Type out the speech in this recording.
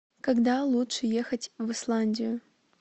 когда лучше ехать в исландию